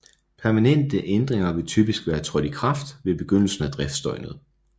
Permanente ændringer vil typisk være trådt i kraft ved begyndelsen af driftsdøgnet